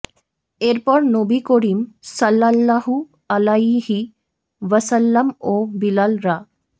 এরপর নবী করীম সাল্লাল্লাহু আলাইহি ওয়াসাল্লাম ও বিলাল রা